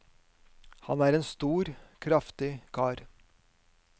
Han er en stor, kraftig kar.